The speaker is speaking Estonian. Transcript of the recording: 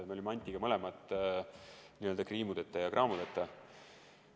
Me olime Antiga mõlemad n-ö kriimudeta ja kraamudeta.